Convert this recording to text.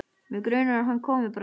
Mig grunar að hann komi bráðum.